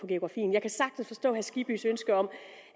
geografien jeg kan sagtens forstå skibbys ønske om